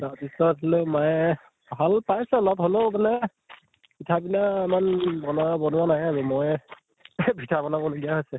তাৰ পিছত লৈ মায়ে ভাল পাইছে অলপ হʼলেও মানে পিঠা পনা ইমান বনা বনোৱা নাই আৰু মই পিঠা বনাব লগিয়া হৈছে